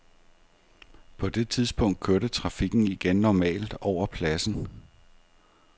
På det tidspunkt kørte trafikken igen normalt over pladsen.